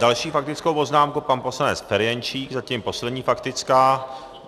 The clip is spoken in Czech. Další faktickou poznámku, pan poslanec Ferjenčík, zatím poslední faktická.